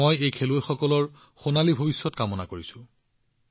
মই এই খেলুৱৈসকলৰ এক উজ্জ্বল ভৱিষ্যতৰ কামনা কৰিছো